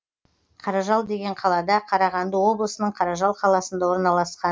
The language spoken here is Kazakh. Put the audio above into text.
қаражал деген қалада қарағанды облысының қаражал қаласында орналасқан